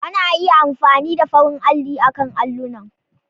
Ana iya amfani da farin alli akan allunan.